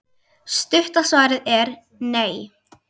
Stutta svarið er: nei.